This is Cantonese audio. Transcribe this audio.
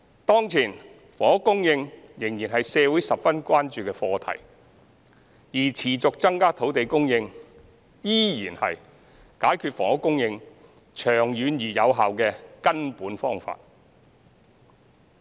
當前，房屋供應仍然是社會十分關注的課題，而持續增加土地供應依然是解決房屋供應長遠而有效的根本方法。